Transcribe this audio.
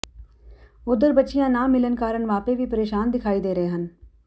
ਉੱਧਰ ਬੱਚੀਆਂ ਨਾ ਮਿਲਣ ਕਾਰਨ ਮਾਪੇ ਵੀ ਪ੍ਰੇਸ਼ਾਨ ਦਿਖਾਈ ਦੇ ਰਹੇ ਹਨ